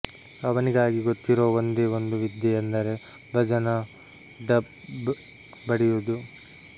ಅವನಿಗಿ ಗೊತ್ತಿರೋ ಒಂದೇ ಒಂದು ವಿದ್ಯೆ ಅಂದರ ಭಜನಾ ಡಪ್ ಬಡಿಯೂದು